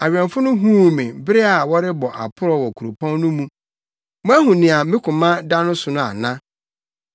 Awɛmfo no huu me bere a wɔrebɔ aprɔw wɔ kuropɔn no mu. “Moahu nea me koma da no so no ana?”